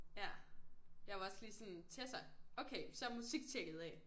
Ja jeg var også lige sådan Tessa okay så er musik tjekket af